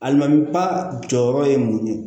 Alimami ba jɔyɔrɔ ye mun ye